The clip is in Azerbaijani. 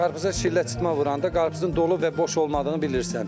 Qarpıza şillə çırtma vuranda qarpızın dolu və boş olmadığını bilirsən.